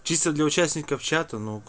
птица для участников чата